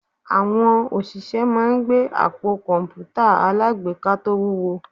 Àwọn òṣìṣẹ́ máa ń gbé àpò kọ̀ǹpútà alágbèéká tó wúwo